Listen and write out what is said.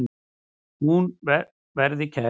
Hún verði kærð.